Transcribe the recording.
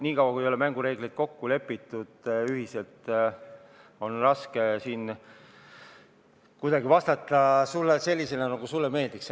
Niikaua kui mängureeglid ei ole ühiselt kokku lepitud, on raske vastata sulle selliselt, nagu sulle meeldiks.